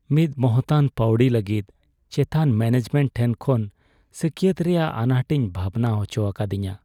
ᱢᱤᱫ ᱢᱚᱦᱚᱛᱟᱱ ᱯᱟᱹᱣᱲᱤ ᱞᱟᱹᱜᱤᱫ ᱪᱮᱛᱟᱱ ᱢᱮᱱᱮᱡᱢᱮᱱᱴ ᱴᱷᱮᱱ ᱠᱷᱚᱱ ᱥᱟᱹᱠᱭᱟᱹᱛ ᱨᱮᱭᱟᱜ ᱟᱱᱟᱴ ᱤᱧ ᱵᱷᱟᱵᱱᱟ ᱦᱚᱪᱚ ᱟᱠᱟᱫᱤᱧᱟᱹ ᱾